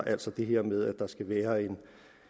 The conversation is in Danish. altså det her med at der skal være en